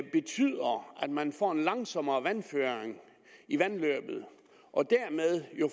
man får en langsommere vandføring i vandløbet og dermed jo